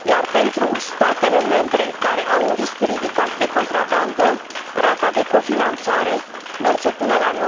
Pentru statele membre care au un risc ridicat de contrabandă, rata de cofinanțare merge până la